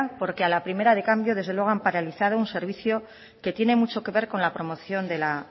porque a la primera de cambio desde luego han paralizado un servicio que tiene mucho que ver con la promoción de la